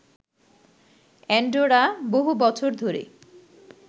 Andorra বহু বছর ধরে